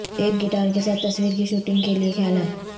ایک گٹار کے ساتھ تصویر کی شوٹنگ کے لئے خیالات